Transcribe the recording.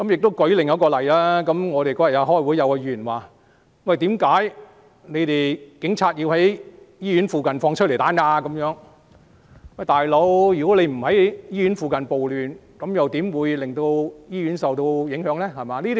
我舉另一個例子，我們當天開會，有議員問為何警察要在醫院附近施放催淚彈，"老兄"，如果他們不是在醫院附近暴亂，醫院又怎會受到影響呢？